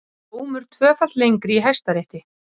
Dómur tvöfalt lengri í Hæstarétti